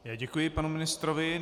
Já děkuji panu ministrovi.